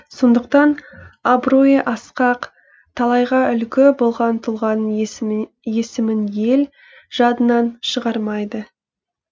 сондықтан абыройы асқақ талайға үлгі болған тұлғаның есімін ел жадынан шығармайды